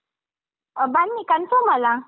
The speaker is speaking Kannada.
ಆ ಬನ್ನಿ confirm ಅಲ್ಲಾ?